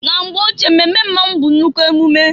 Na mgbe ochie mmemme mmonwu bụ nnukwu emume.